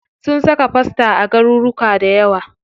Sun saka fosta a garuruka dayawa.